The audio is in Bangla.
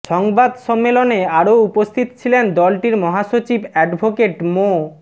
সংবাদ সম্মেলনে আরও উপস্থিত ছিলেন দলটির মহাসচিব অ্যাডভোকেট মো